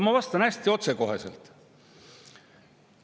Ma vastan hästi otsekoheselt.